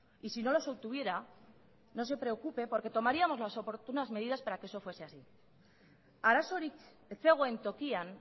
y sino los obtuviera no se preocupe porque tomaríamos las oportunas medidas para que eso fuese así arazorik ez zegoen tokian